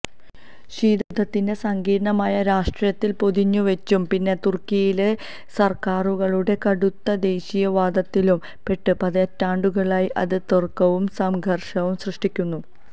ശീതയുദ്ധത്തിന്റെ സങ്കീര്ണമായ രാഷ്ട്രീയത്തില് പൊതിഞ്ഞുവെച്ചും പിന്നെ തുര്ക്കിയിലെ സര്ക്കാരുകളുടെ കടുത്ത ദേശീയതവാദത്തിലും പെട്ട് പതിറ്റാണ്ടുകളായി അത് തര്ക്കവും സംഘര്ഷവും സൃഷ്ടിക്കുന്നു